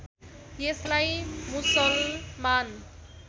यसलाई मुसलमान